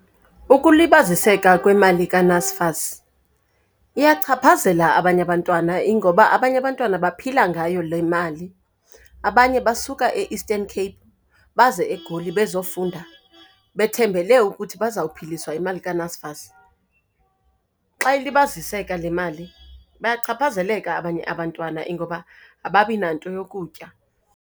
Ukulibaziseka kwemali kaNSFAS iyachaphazela abanye abantwana, ingoba abanye abantwana baphila ngayo le mali. Abanye basuka e-Eastern Cape baze eGoli bezofunda, bethembele ukuthi bazawuphiliswa yimali kaNSFAS. Xa ilibaziseka le mali bayachaphazeleka abanye abantwana, ingoba ababinanto yokutya.